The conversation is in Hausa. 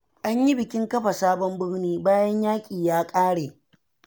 An yi bikin kafa sabon birni, bayan yaƙi ya ƙare.